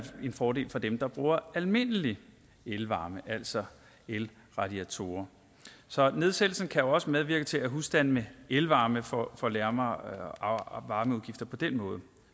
en fordel for dem der bruger almindelige elvarme altså elradiatorer så nedsættelsen kan også medvirke til at husstande med elvarme får får lavere varmeudgifter på den måde